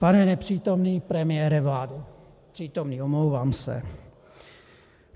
Pane nepřítomný premiére vlády - přítomný, omlouvám se.